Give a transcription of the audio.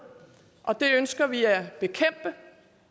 og det ønsker vi at bekæmpe